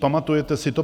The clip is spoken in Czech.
Pamatujete si to?